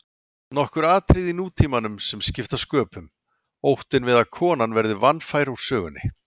Nokkur atriði í nútímanum sem skipta sköpum: Óttinn við að konan verði vanfær úr sögunni.